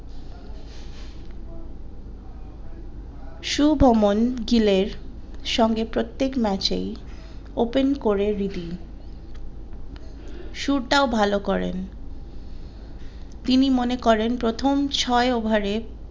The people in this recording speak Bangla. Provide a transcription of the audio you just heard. সুভমন গিলের সঙ্গে প্রত্যেক ম্যাচেই open করে রিদি শুরু টাও ভালো করেন তিনি মনে করেন প্রথম ছয় ওভারে